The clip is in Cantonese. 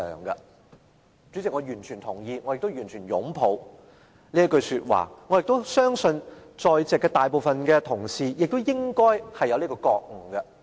代理主席，我完全同意，我亦完全擁抱這句說話，我亦相信在席大部分同事應該有這覺悟。